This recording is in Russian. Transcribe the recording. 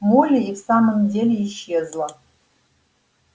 молли и в самом деле исчезла